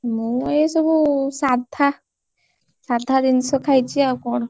ମୁଁ ଏଇ ସବୁ ସାଧା ସାଧା ଜିନିଷ ଖାଇଛି, ଆଉ କଣ?